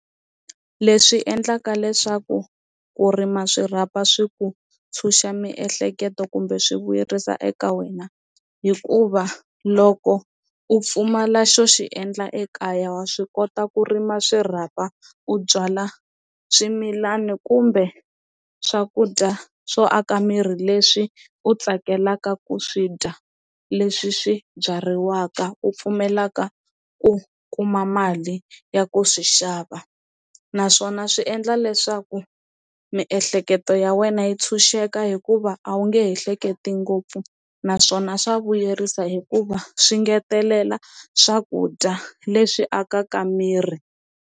Leswi endlaka leswaku ku rima swirhapa swi ku ntshunxa miehleketo kumbe swi vuyerisa eka wena hikuva loko u pfumala xo xi endla ekaya wa swi kota ku rima swirhapa u byala swimilani kumbe swakudya swo aka miri leswi u tsakelaka ku swi dya leswi swi byariwaka u pfumelaka u ku kuma mali ya ku swi xava, naswona swi endla leswaku miehleketo ya wena yi tshunxeka hikuva a wu nge he hleketi ngopfu naswona swa vuyerisa hikuva swi ngetelela swakudya leswi akaka miri.